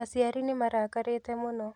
Aciari nĩmarakarĩte mũno